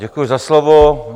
Děkuju za slovo.